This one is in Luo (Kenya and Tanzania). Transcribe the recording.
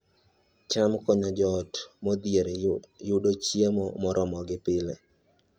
cham konyo joot modhier yudo chiemo moromogi pile